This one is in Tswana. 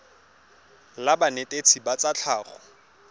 la banetetshi ba tsa tlhago